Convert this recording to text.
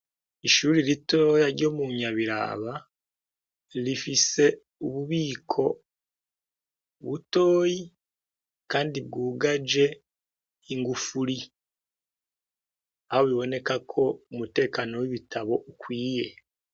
Ishuri rito ryo mu Nyabiraba rifise ububiko butoyi kandi bwugaje ingufuri ahobiboneka ko umutekano w'ibitabo ukwiye.